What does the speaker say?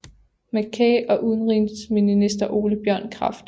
McCay og udenrigsminister Ole Bjørn Kraft